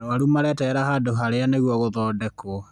Arwaru mareterera handũ harĩa nĩguo gũthondekwo